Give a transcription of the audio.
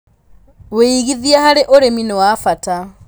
Wĩigithia harĩ ũrĩmi nĩ wa bata.